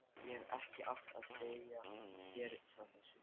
Ég hefði ekki átt að segja þér frá þessu